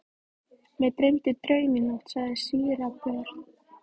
Mig dreymdi draum í nótt, sagði síra Björn.